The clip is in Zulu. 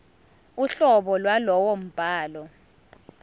uhlobo lwalowo mbhalo